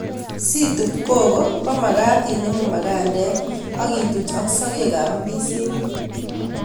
Si tup koko komagat inemu magaandek ak ituch ak sogek ab ndizinik